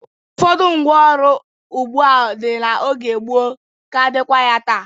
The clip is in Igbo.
Ụfọdụ ngwá ọrụ ugbo dị n'oge gboo ka dịkwa ya taa.